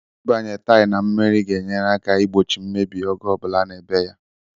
Ịbịanye taịl na mmiri ga-enyere aka igbochi mmebi ọbụla oge a na-ebe ya